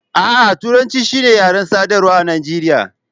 A'a, Turanci shi ne yaren sadarwa a Najeriya.